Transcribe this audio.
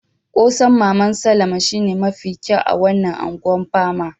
Kose'n maman Salama shine mafi kyau a wanan Ungwan Pama.